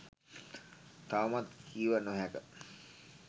තවමත් කිව නොහැක